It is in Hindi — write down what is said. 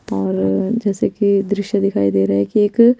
और जेसे की द्रिश्य दिखाई देरा है की एक--